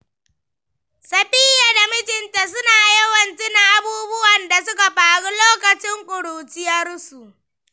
Safiyya da mijinta suna yawan tuna abubuwan da suka faru lokacin ƙuruciyarsu.